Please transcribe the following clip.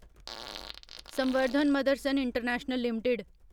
संवर्धन Motherson international limited